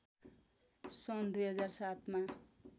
सन् २००७ मा